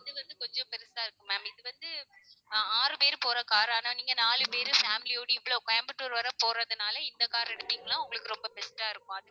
இது வந்து கொஞ்சம் பெருசா இருக்கும் ma'am இது வந்து ஆஹ் ஆறு பேரு போற car ஆனா நீங்க நாலு பேரு family யோட இவ்ளோ கோயம்புத்தூர் வர போறதுனால இந்த car அ எடுத்தீங்கன்னா உங்களுக்கு ரொம்ப best ஆ இருக்கும்